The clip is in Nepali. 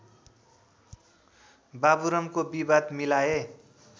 बाबुरामको विवाद मिलाए